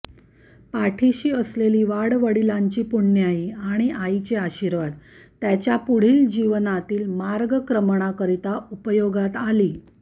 पाठीशी असलेली वाडवडिलांची पुण्याई आणि आईचे आशीर्वाद त्याच्या पुढील जीवनातील मार्गक्रमणाकरिता उपयोगात आली